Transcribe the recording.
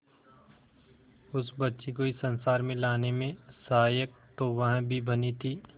उस बच्ची को इस संसार में लाने में सहायक तो वह भी बनी थी